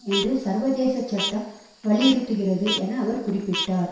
என்று சர்வதேச சட்டம் வலியுறுத்துகிறது என அவர் குறிப்பிட்டார்